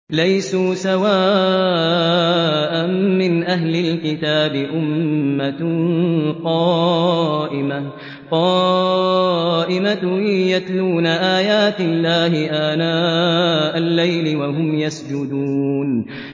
۞ لَيْسُوا سَوَاءً ۗ مِّنْ أَهْلِ الْكِتَابِ أُمَّةٌ قَائِمَةٌ يَتْلُونَ آيَاتِ اللَّهِ آنَاءَ اللَّيْلِ وَهُمْ يَسْجُدُونَ